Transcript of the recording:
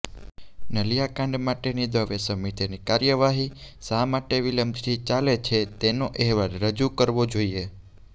નલિયાકાંડ માટેની દવે સમિતિની કાર્યવાહી શા માટે વિલંબથી ચાલે છે તેનો અહેવાલ રજૂ કરવો જોઈએ